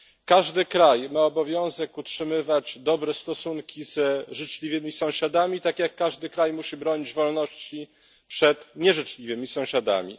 Każdy kraj ma obowiązek utrzymywać dobre stosunki z życzliwymi sąsiadami, tak jak każdy kraj musi bronić wolności przed nieżyczliwymi sąsiadami.